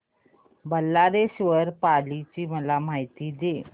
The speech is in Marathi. बल्लाळेश्वर पाली ची मला माहिती दे